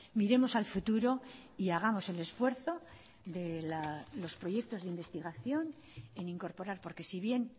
miremos al futuro y hagamos el esfuerzo de los proyectos de investigación en incorporar porque si bien